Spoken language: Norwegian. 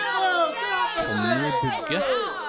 Tommy Bugge